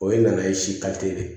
O ye nana ye si de ye